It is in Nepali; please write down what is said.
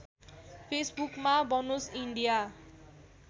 फेसबुकमा बनोस् इन्डिया